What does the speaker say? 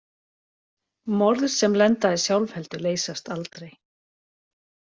Morð sem lenda í sjálfheldu leysast aldrei.